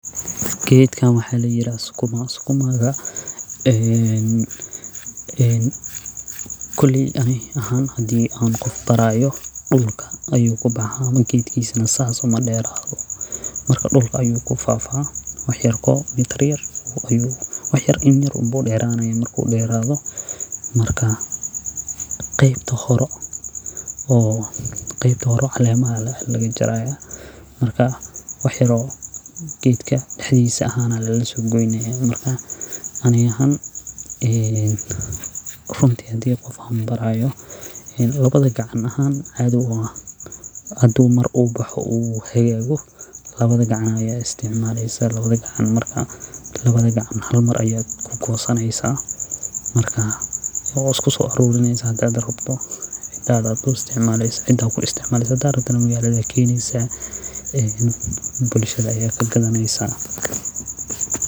Gedkan waxa layira sukuma. sukumagana koley ani ahan hadii aan qof barayo dhulka ayuu kabaxa gedkisana sas uma dhero marka dhulka ayu kufafa wax yarko meter yarko marka war yar in yar umbuu dheranayaa marku dherado marka qeybta hore oo calemaha ah umba laga jaraya marka wax yar oo gedka dhexdisa ahan laga so goynaya marka ani ahaan runti hadii qof aan barayo labada gacan ahaan hadi mar uu boxo oo uu hagago labada gacmo ayad isticmaleysa labada gacmo marka hal mar ayad isku gosaneysa marka wad iskuso arurineysa hadad rabto cidada ku isticmaleysa hadad rabtana magalada ayad keneysa bulshada ayad ka gadaneysa.